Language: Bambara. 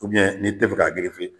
ni te fɛ ka